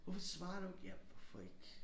Hvorfor svarer du ikke? Ja hvorfor ikke